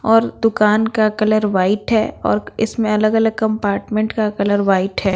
और दुकान का कलर वाइट है और इसमें अलग-अलग कंपार्टमेंट का कलर वाइट है।